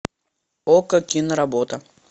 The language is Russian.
окко киноработа